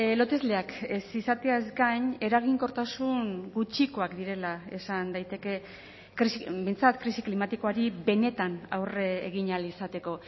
lotesleak ez izateaz gain eraginkortasun gutxikoak direla esan daiteke behintzat krisi klimatikoari benetan aurre egin ahal izateko